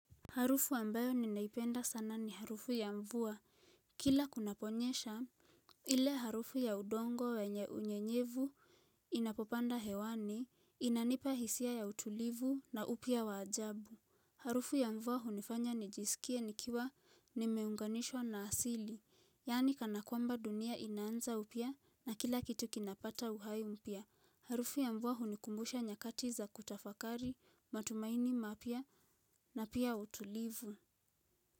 Harufu ambayo ninaipenda sana ni harufu ya mvua. Kila kunaponyesha, ile harufu ya udongo wenye unyenyevu inapopanda hewani, inanipa hisia ya utulivu na upya wa ajabu. Harufu ya mvua hunifanya nijisikie nikiwa nimeunganishwa na asili, yaani kana kwamba dunia inaanza upya na kila kitu kinapata uhai mpya. Harufu ya mvua hunikumbusha nyakati za kutafakari, matumaini mapya na pia utulivu.